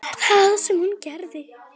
Það sem hún gerði: